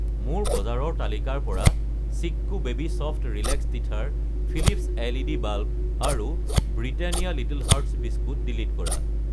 মোৰ বজাৰৰ তালিকাৰ পৰা Chicco baby soft relax teether , Philips LED. Bulb আৰু Britannia little hearts biscuit delete কৰা।